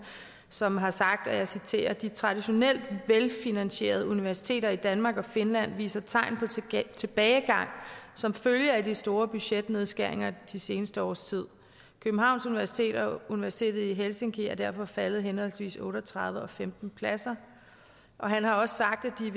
som har sagt og jeg citerer de traditionelt velfinansierede universiteter i danmark og finland viser tegn på tilbagegang som følge af de store budgetnedskæringer de seneste års tid københavns universitet og universitetet i helsinki er derfor faldet henholdsvis otte og tredive og femten pladser han har også sagt at de